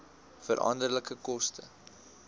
veranderlike koste